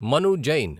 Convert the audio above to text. Manu Jain